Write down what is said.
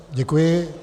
Děkuji.